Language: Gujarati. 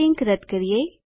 આ લીંક રદ્દ કરીએ